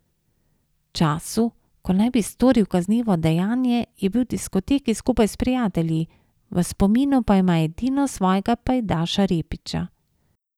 V času, ko naj bi storil kaznivo dejanje, je bil v diskoteki skupaj s prijatelji, v spominu pa ima edino svojega pajdaša Repića.